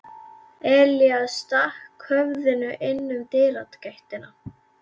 Elías stakk höfðinu inn um dyragættina.